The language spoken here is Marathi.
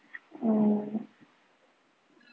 हम्म